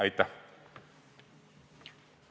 Aitäh!